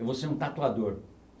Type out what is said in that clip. Eu vou ser um tatuador.